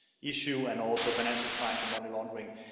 issues and also financial crimes and money laundering.